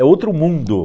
É outro mundo.